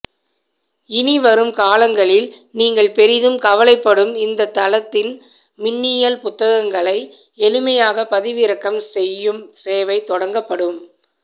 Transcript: இனி வரும் காலங்களில் நீங்கள் பெரிதும் கவலைப்படும் இந்த தளத்தின் மின்னியல் புத்தகங்களை எளிமையாக பதிவிறக்கம் செய்யும் சேவை தொடங்கப்படும்